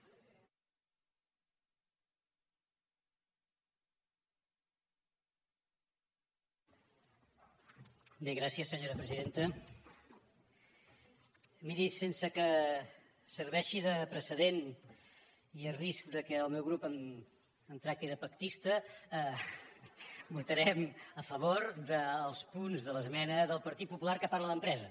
miri sense que serveixi de precedent i a risc que el meu grup em tracti de pactista votarem a favor dels punts de l’esmena del partit popular que parla d’empresa